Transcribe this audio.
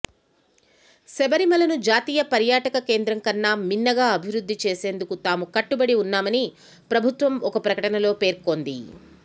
శబరిమలను జాతీయ పర్యాటక కేంద్రం కన్నా మిన్నగా అభివృద్ధి చేసేందుకు తాము కట్టుబడి వున్నామని ప్రభుత్వం ఒక ప్రకటనలో పేర్కొంది